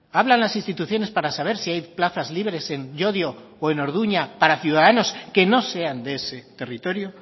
hablan las instituciones para saber si hay plazas libres en llodio o en orduña para ciudadanos que no sean de ese territorio